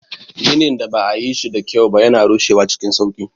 Ginin da ba a yi shi da kyau ba yana rushewa cikin sauƙi.